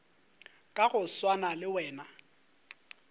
ka go swana le wena